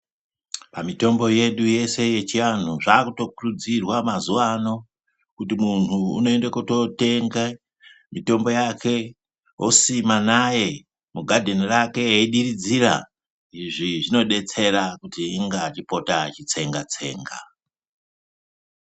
Pamitombo yedu yeshe yechiantu zvavakuto kuridzirwawo mazuwa anokuti muntu ava kutonotenga mitombo yake osima naye mugadheni rake eyidiridzira izvi zvinodetsera kuti inga achipota achitsenga tsenga.